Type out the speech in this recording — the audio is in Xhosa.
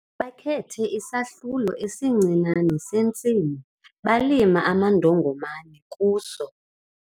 Bakhethe isahlulo esincinane sentsimi balima amandongomane kuso.